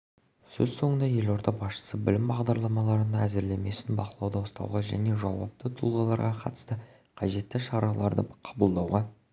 сөз соңында елорда басшысы білім бағдарламаларының әзірлемесін бақылауда ұстауға және жауапты тұлғаларға қатысты қажетті шараларды қабылдауға